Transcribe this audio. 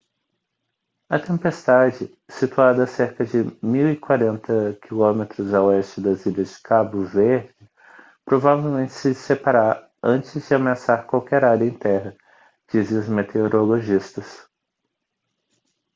a tempestade situada a cerca de 1040 km a oeste das ilhas de cabo verde provavelmente se dissipará antes de ameaçar qualquer área em terra dizem os meteorologistas